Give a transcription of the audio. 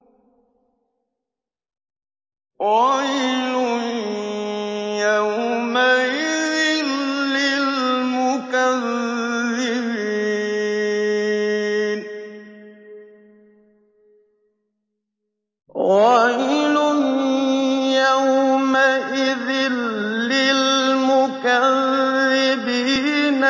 وَيْلٌ يَوْمَئِذٍ لِّلْمُكَذِّبِينَ